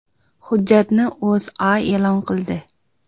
Hujjatni O‘zA e’lon qildi .